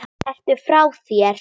Ertu frá þér!